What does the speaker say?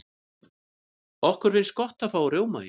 okkur finnst gott að fá rjómaís